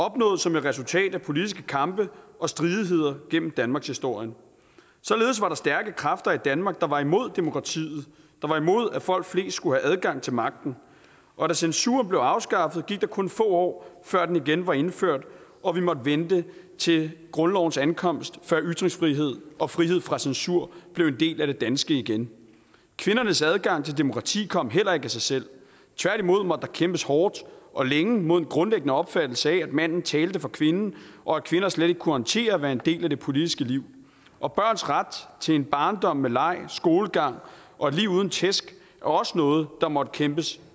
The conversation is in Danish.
opnået som et resultat af politiske kampe og stridigheder igennem danmarkshistorien således var der stærke kræfter i danmark der var imod demokratiet der var imod at folk flest skulle have adgang til magten og da censuren blev afskaffet gik der kun få år før den igen var indført og vi måtte vente til grundlovens ankomst før ytringsfrihed og frihed fra censur blev en del af det danske igen kvindernes adgang til demokrati kom heller ikke af sig selv tværtimod måtte der kæmpes hårdt og længe mod en grundlæggende opfattelse af at manden talte for kvinden og at kvinder slet ikke kunne håndtere at være en del af det politiske liv og børns ret til en barndom med leg skolegang og et liv uden tæsk var også noget der måtte kæmpes